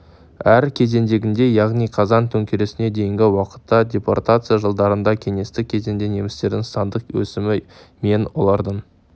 әр кезеңдегідей яғни қазан төңкерісіне дейінгі уақытта депортация жылдарында кеңестік кезеңде немістердің сандық өсімі мен олардың